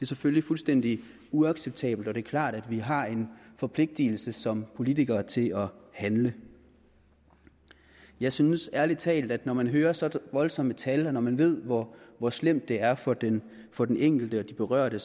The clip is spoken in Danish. selvfølgelig fuldstændig uacceptabelt og det er klart at vi har en forpligtelse som politikere til at handle jeg synes ærlig talt at når man hører så voldsomme tal og når man ved hvor hvor slemt det er for den for den enkelte og de berørte